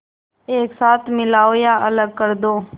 एक साथ मिलाओ या अलग कर दो